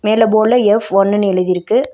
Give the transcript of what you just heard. மேல போர்டுல எஃப் ஒன்னுனு எழுதிருக்கு.